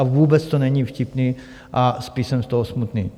A vůbec to není vtipné a spíš jsem z toho smutný.